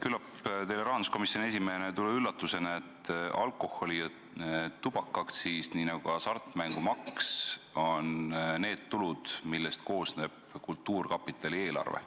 Küllap teile rahanduskomisjoni esimehena ei tule üllatusena, et alkoholi- ja tubakaaktsiis, nii nagu ka hasartmängumaks on need tulud, millest koosneb kultuurkapitali eelarve.